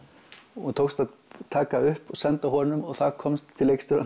og tókst að taka upp senda honum og það komst til leikstjórans